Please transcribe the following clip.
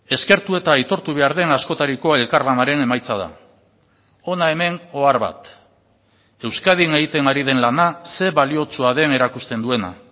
eskertu eta aitortu behar den askotariko elkarlanaren emaitza da hona hemen ohar bat euskadin egiten ari den lana ze baliotsua den erakusten duena